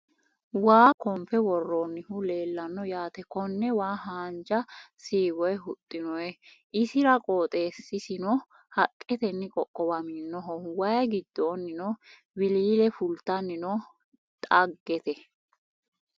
Waa konfe worroonnihu leellanno yaate konne waa haanja shiwoyi huxxinoyi isira qooxesisino haqqetenni qoqqowaminoho waayi giddonnino wiliile fultanni no dhagete